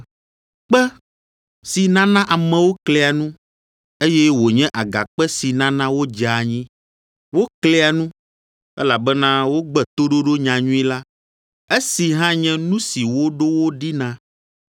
kpe, “Si nana amewo klia nu, eye wònye agakpe si nana wodzea anyi,” Woklia nu, elabena wogbe toɖoɖo nyanyui la, esi hã nye nu si woɖo wo ɖi na.